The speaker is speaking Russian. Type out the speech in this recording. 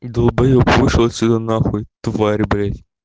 далбоеб вышел отсюда на хуй тварь блять